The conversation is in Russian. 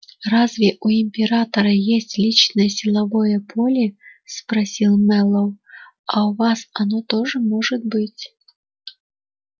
разве у императора есть личное силовое поле спросил мэллоу а у вас оно тоже может быть